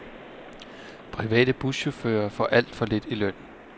Private buschauffører får alt for lidt i løn.